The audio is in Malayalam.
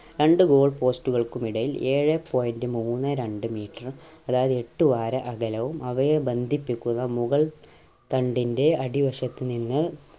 രണ്ട് goal post കൾക്കുമിടയിൽ ഏഴെ point മൂന്നേ രണ്ട് meter അതായത് എട്ടു ആര അകലവും അവയെ ബന്ധിപ്പിക്കുന്ന മുകൾ തണ്ടിൻ്റെ അടിവശത്ത് നിന്ന്